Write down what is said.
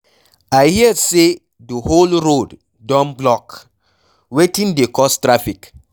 I hear say the whole road don block, wetin dey cause traffic?